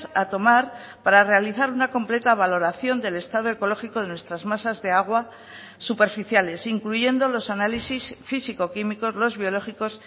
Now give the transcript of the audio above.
a tomar para realizar una completa valoración del estado ecológico de nuestras masas de agua superficiales incluyendo los análisis físico químicos los biológicos